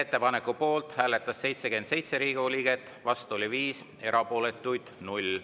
Ettepaneku poolt hääletas 77 Riigikogu liiget, vastu oli 5, erapooletuid 0.